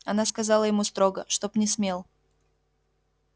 она сказала ему строго чтоб не смел